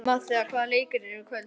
Matthea, hvaða leikir eru í kvöld?